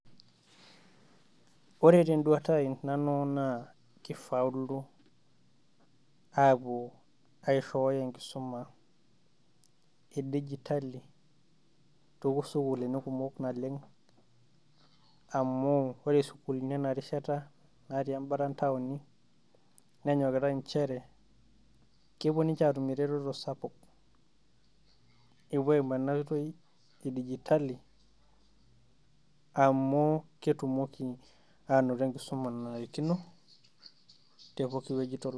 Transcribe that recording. Ore te n`duata ai nanu naa kifauluo aapuo aishooyo enkisuma e digitali too sukuulini kumok naleng. Amu ore sukuulini ena rishata natii embata etowoni nenyokitai nchere kepuo ninche aatum eretoto sapuk. Epuo aimu ena oitoi e digitali amu ketumoki aanoto e nkisuma nanarikino tepoki wueji.